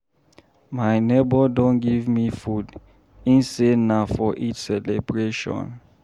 My nebor don give me food, im say na for Eid celebration.